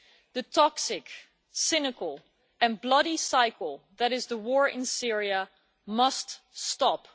The toxic, cynical and bloody cycle that is the war in Syria must stop.